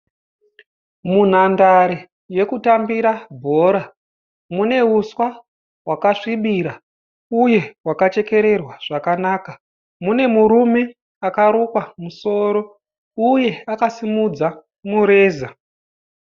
Munhandare yekutambira bhora, mune uswa hwakasvibira uye hwakachekererwa zvakanaka. mune murume akarukwa musoro uye akasimudza mureza.